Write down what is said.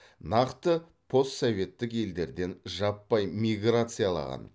нақты постсоветтік елдерден жаппай миграциялаған